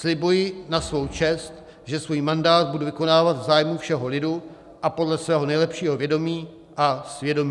Slibuji na svou čest, že svůj mandát budu vykonávat v zájmu všeho lidu a podle svého nejlepšího vědomí a svědomí."